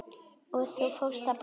Og þú fórst að brosa.